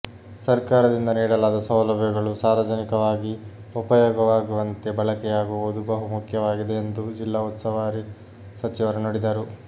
ಸಕರ್ಾರದಿಂದ ನೀಡಲಾದ ಸೌಲಭ್ಯಗಳು ಸಾರ್ವಜನಿಕವಾಗಿ ಉಪಯೋಗವಾಗುವಂತೆ ಬಳಕೆಯಾಗುವುದು ಬಹು ಮುಖ್ಯವಾಗಿದೆ ಎಂದು ಜಿಲ್ಲಾ ಉಸ್ತುವಾರಿ ಸಚಿವರು ನುಡಿದರು